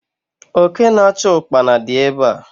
Oke na achu Ụkpana di ebe a